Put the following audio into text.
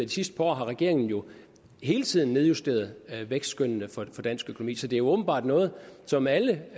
de sidste par år har regeringen jo hele tiden nedjusteret vækstskønnene for dansk økonomi så det er jo åbenbart noget som alle og